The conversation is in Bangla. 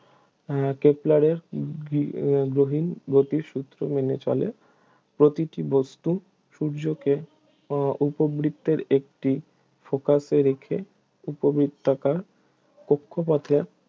উহ কেপলারের গৃ~ গ্রহীন গতির সূত্র মেনে চলে প্রতিটি বস্তু সূর্যকে উহ উপবৃত্তের একটি focus এ রেখে উপবৃত্তাকার কক্ষপথে